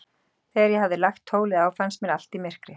Þegar ég hafði lagt tólið á, fannst mér allt í myrkri.